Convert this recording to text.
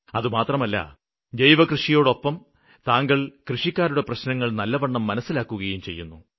അതുമാത്രമല്ല ജൈവകൃഷിയോടൊപ്പം താങ്കള് കൃഷിക്കാരുടെ പ്രശ്നങ്ങള് നല്ലവണ്ണം മനസ്സിലാക്കുകയും ചെയ്യുന്നു